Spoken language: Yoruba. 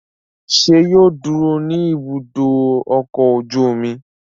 Ṣé yóò dúró ní Ibùdó-ọkọ̀ ojú-omi?